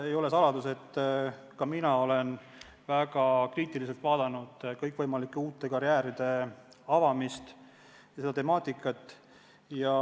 Ei ole saladus, et ka mina olen väga kriitiliselt vaadanud kõikvõimalike uute karjääride avamise temaatikat.